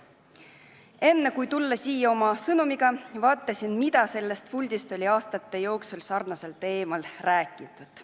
Enne, kui oma sõnumiga siia tulin, vaatasin, mida on aastate jooksul selles puldis sarnasel teemal räägitud.